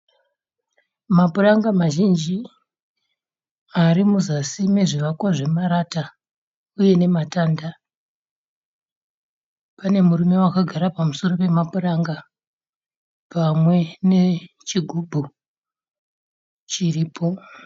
Mapuranga mazhinji arimuzasi memizvakwa zvemarata uye nematanda. Pane murume akagara pamusoro pemapuranga pamwe nechighubhu chiripo.